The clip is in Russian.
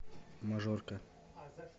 мажорка